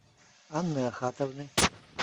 анны ахатовны